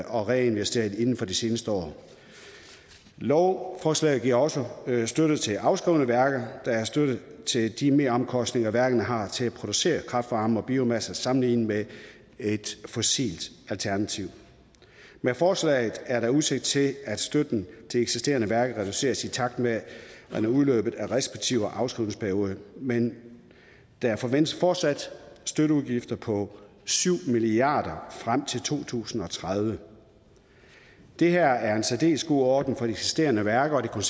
og reinvesteret inden for de seneste år lovforslaget giver også støtte til afskrevne værker der er støtte til de meromkostninger værkerne har til at producere kraft varme og biomasse sammenlignet med et fossilt alternativ med forslaget er der udsigt til at støtten til eksisterende værker reduceres i takt med udløbet af den respektive afskrivningsperiode men der forventes fortsat støtteudgifter på syv milliard kroner frem til to tusind og tredive det her er en særdeles god ordning for de eksisterende værker og